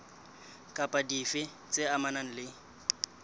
kapa dife tse amanang le